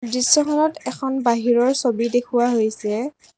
দৃশ্যখনত এখন বাহিৰৰ ছবি দেখুওৱা হৈছে।